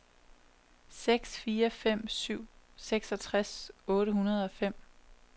seks fire fem syv seksogtres otte hundrede og fem